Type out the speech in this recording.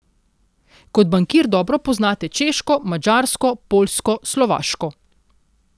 Kot bankir dobro poznate Češko, Madžarsko, Poljsko, Slovaško.